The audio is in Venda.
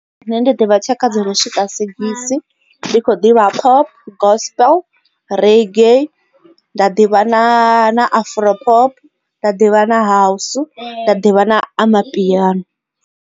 Nṋe ndi ḓivha tshaka dzo no swika sigisi ndi kho ḓivha pop, gospel, reggae nda ḓivha na afro pop nda ḓivha na house nda ḓivha na amapiano.